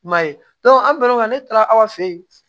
I m'a ye an bɛn'o la ne taara aw fɛ yen